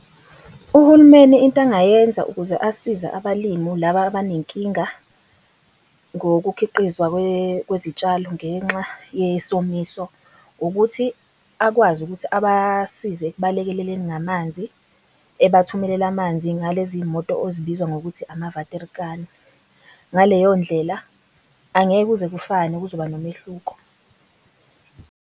Uhulumeni into angayenza ukuze asize abalimu laba abanenkinga ngokukhiqizwa kwezitshalo ngenxa yesomiso ukuthi akwazi ukuthi abasize ekubalekeleleni ngamanzi. Ebathumelele amanzi ngalezi moto ezibizwa ngokuthi amavater kani. Ngaleyo ndlela angeke kuze kufane kuzoba nomehluko.